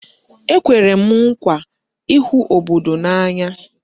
Ekwere m nkwa ịhụ obodo n'anya